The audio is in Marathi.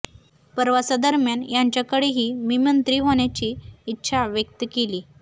प्रवासा दरम्यान त्यांच्याकडेही मी मंत्री होण्याची इच्छा व्यक्त केली